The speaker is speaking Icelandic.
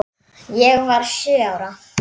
Ég var sjö ára.